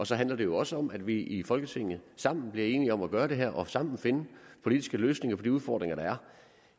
så handler det jo også om at vi i folketinget sammen bliver enige om at gøre det her og sammen finde politiske løsninger på de udfordringer der er